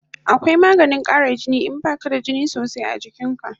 Akwai maganin kara jini in baka da jini sosai a jikin ka